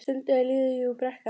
Stundum er lífið jú brekka.